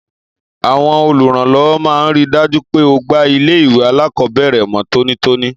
Àwon olùrànlówó máa n rí i dájú pé ogbà ilé ìwé alákòóbèrè mó tónítóní